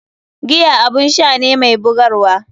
Giya abun sha ne mai bugarwa.